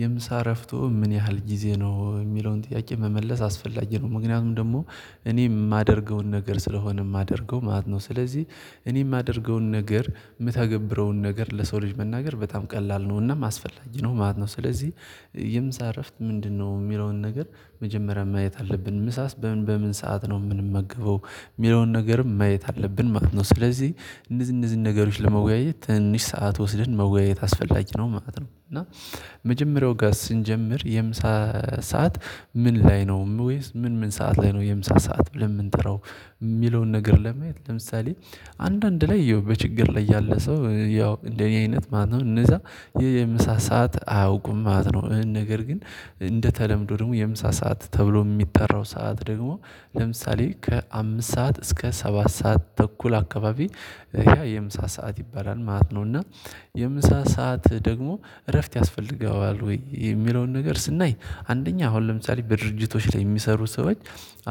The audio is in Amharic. የምሳ እረፍቱ ምን ያህል ጊዜ ነው የሚለውን ጥያቄ መመለስ አስፈላጊ ነው። ምክንያቱም ደግሞ እኔ የማደርገውን ነገር ስለሆነ የማደርገው ማለት ነው። ስለዚህ እኔ የማደርገውን ነገር የምታገብረውን ነገር ለሰው ልጅ መናገር በጣም ቀላል ነውና እናም አስፈላጊ ነው ማለት ነው። ስለዚህ የምሳ እረፍት ምንድነው የሚለውን ነገር መጀመሪያ ማየት አለብን ምሳስ በምን በምን ሰዓት ነው የምንመገበው የሚለውን ነገርም ማየት አለብን ማለት ነው። ስለዚህ እነዚን እነዚን ነገሮች ለመወያየት ትንንሽ ሰዓት ወስደን መወያየት አስፈላጊ ነው ማለት ነው። እና መጀመሪያው ጋር ስንጀምር የምሳ ሰዓት ምን ላይ ነው ወይስ ምን ምን ሰዓት ላይ ነው የምሳ ሰዓት ብለን የምንጠራው? የሚለውን ነገር ለማየት ለምሳሌ አንዳንድ ላይ በችግር ላይ ያለ ሰው ያው እንደኔ አይነት ማነው እነዛ ይሄ የምሳ ሰዓት አያውቁም ማለት ነው። ነገር ግን እንደተለምዶ ደግሞ የምሳ ሰዓት ተብሎ የሚጠራው ሰዓት ደግሞ ለምሳሌ ከአምስት ሰዓት እስከ ሰባት ሰዓት ተኩል አካባቢ ያ የምሳ ሰዓት ይባላል ማለት ነው። እና የምሳ ሰዓት ደግሞ እረፍት ያስፈልገዋል? ወይ የሚለውን ነገር ስናይ አንደኛ አሁን ለምሳሌ በድርጅቶች ላይ የሚሰሩ ሰዎች